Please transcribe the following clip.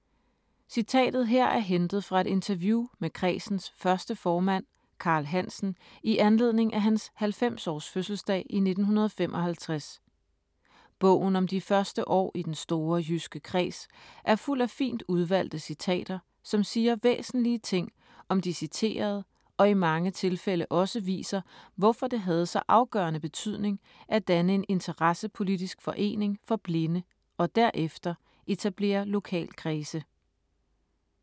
Citatet her er hentet fra et interview med kredsens første formand Karl Hansen i anledning af hans 90-års fødselsdag i 1955. Bogen om de første år i den store jyske kreds er fuld af fint udvalgte citater, som siger væsentlige ting om de citerede og i mange tilfælde også viser, hvorfor det havde så afgørende betydning at danne en interessepolitisk forening for blinde og derefter etablere lokalkredse.